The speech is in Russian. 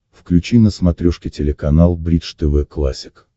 включи на смотрешке телеканал бридж тв классик